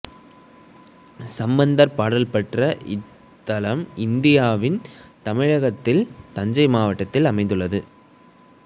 சம்பந்தர் பாடல் பெற்ற இத்தலம் இந்தியாவின் தமிழகத்தில் தஞ்சை மாவட்டத்தில் அமைந்துள்ளது